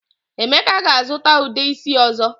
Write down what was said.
Emeka ga-azuta Ude isi ozo.